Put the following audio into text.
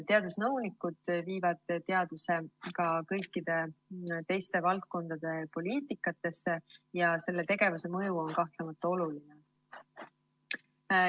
Teadusnõunikud viivad teaduse ka kõigi teiste valdkondade poliitikasse ja selle tegevuse mõju on kahtlemata oluline.